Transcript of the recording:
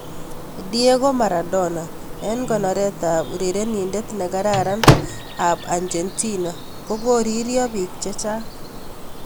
Diego Maradona: Eng' konoret ab urerenindet ne kararan ab Argentina kokoririo bik chechang'.